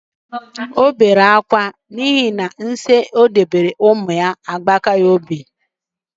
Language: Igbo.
O bere akwa akwa, n'ihi na nsi o dobere umu agbata obi ya ejirila otu nwa ya nwoke bibie. Ọ bụ ihe nwute.